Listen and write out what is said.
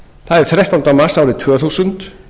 það er þrettánda mars árið tvö þúsund